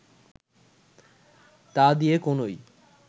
তা দিয়ে কোনই